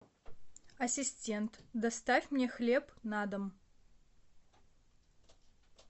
ассистент доставь мне хлеб на дом